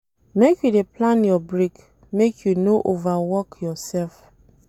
Make you dey plan your break, make you no over work yoursef.